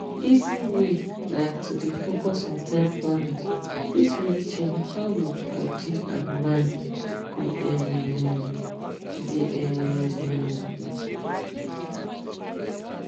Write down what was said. easy way like to dey focus on time planning fit really change how your body and mind go um dey um